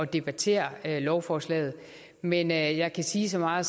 debattere lovforslaget men jeg jeg kan sige så meget